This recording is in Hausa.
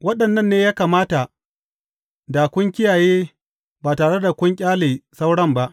Waɗannan ne ya kamata da kun kiyaye ba tare da kun ƙyale sauran ba.